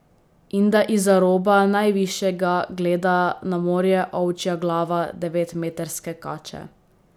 In da izza roba najvišjega gleda na morje ovčja glava devetmetrske kače.